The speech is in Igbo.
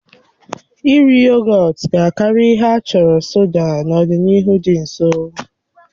Iri yogọt ga-akarị ihe a chọrọ soda n'ọdịnihu dị nso.